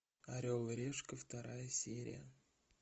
орел и решка вторая серия